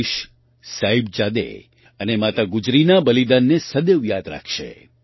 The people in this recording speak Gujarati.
દેશ સાહિબજાદે અને માતા ગુજરીના બલિદાનને સદૈવ યાદ રાખશે